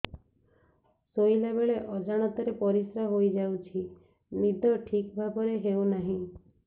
ଶୋଇଲା ବେଳେ ଅଜାଣତରେ ପରିସ୍ରା ହୋଇଯାଉଛି ନିଦ ଠିକ ଭାବରେ ହେଉ ନାହିଁ